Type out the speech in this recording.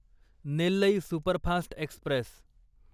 Nellai superfast Express